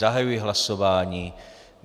Zahajuji hlasování.